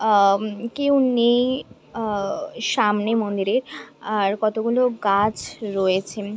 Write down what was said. আ-ম-ম কেউ নেই আ-আ সামনে মন্দিরে আর কতগুলো গাছ রয়েছে।